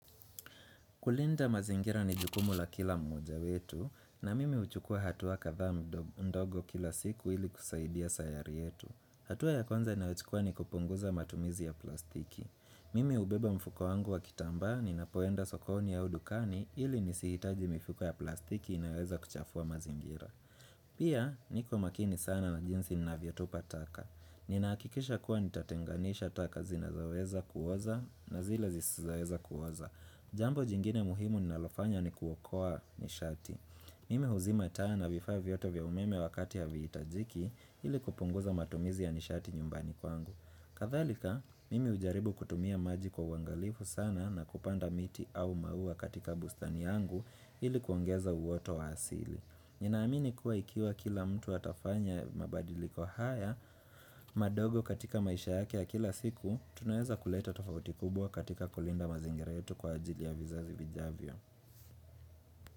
Kulinda mazingira ni jukumu la kila mmoja wetu na mimi uchukua hatuwa kadhaaa ndogo kila siku ili kusaidia sayari yetu. Hatuwa ya kwanza ninayochukua ni kupunguza matumizi ya plastiki. Mimi hubeba mfuko wangu wa kitambaa ni napoenda sokoni au dukani ili nisihitaji mifuko ya plastiki inaweza kuchafua mazingira. Pia, niko makini sana na jinsi ninavyatupa taka. Ninahakikisha kuwa nitatenganisha taka zinazoweza kuoza na zile zisizoweza kuoza. Jambo jingine muhimu ninalofanya ni kuokoa nishati. Mimi huzima taa vifaa vyote vya umeme wakati ya haviitajiki ili kupunguza matumizi ya nishati nyumbani kwangu. Kadhalika, mimi hujaribu kutumia maji kwa wangalifu sana na kupanda miti au maua katika bustani yangu ili kuongeza uwoto wa asili. Ninaamini kuwa ikiwa kila mtu atafanya mabadiliko haya, madogo katika maisha yake ya kila siku, tunaweza kuleta tofauti kubwa katika kulinda mazingira yetu kwa ajili ya vizazi vijavyo.